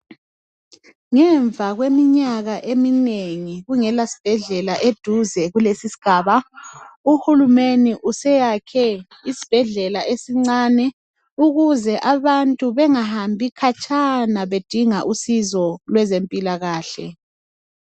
Ngemva kweminyaka eminengi kungela sibhedlela eduze kulesi sigaba, UHulumene useyakhe isibhedlela esincane ukuze abantu bengahambi khatshana bedinga usizo lwezempilakahle.